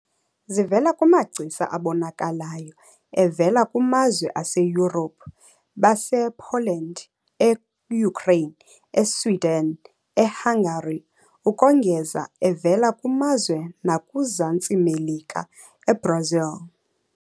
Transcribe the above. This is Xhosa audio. Zivela kumagcisa abonakalayo evela kumazwe aseYurophu- basePoland, eUkraine, eSwiden, eHangari ukongeza evela kumazwe nakuZantsi Melika- eBrasil.